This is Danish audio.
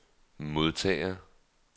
modtager